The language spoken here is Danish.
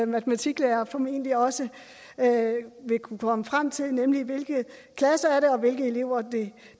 matematiklærer formentlig også vil kunne komme frem til nemlig hvilke klasser det er og hvilke elever det